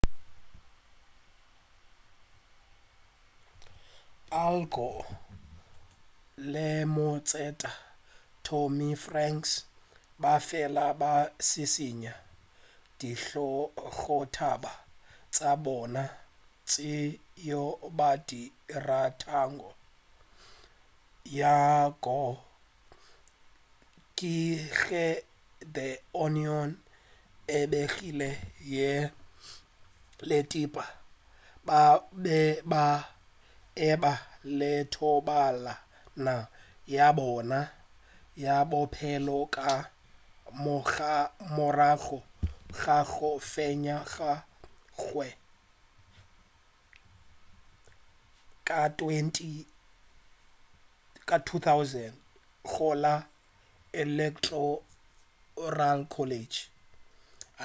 al gore le motseta tommy franks ba fela ba šišinya dihlogotaba tša bona tšeo ba di ratago ya gore ke ge the onion e begile yena le tipper ba be ba e ba le thobalano ya bona ya bophelo ka morago ga go fenywa ga gagwe ka 2000 go la electoral college